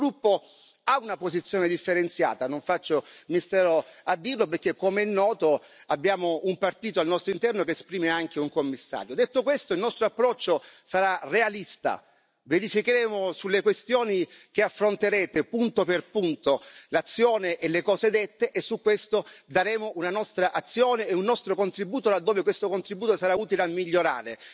Il nostro gruppo ha una posizione differenziata, non faccio mistero a dirlo perché, come è noto, abbiamo un partito al nostro interno che esprime anche un Commissario. Detto questo, il nostro approccio sarà realista verificheremo sulle questioni che affronterete, punto per punto, l'azione e le cose dette e su questo daremo una nostra azione e un nostro contributo, laddove questo contributo sarà utile a migliorare.